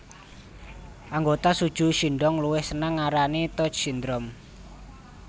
Anggota SuJu Shindong luwih senang ngarani touch syndrome